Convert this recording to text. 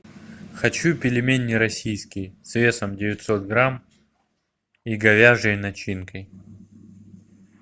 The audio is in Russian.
хочу пельмени российские с весом девятьсот грамм и говяжьей начинкой